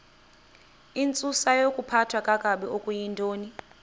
intsusayokuphathwa kakabi okuyintoni